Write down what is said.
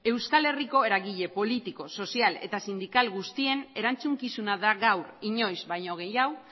euskal herriko eragile politiko sozial eta sindikal guztien erantzukizuna da gaur inoiz baino gehiago